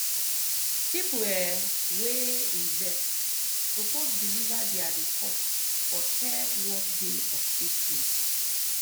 people um wey invest suppose deliver their report for third work day of april.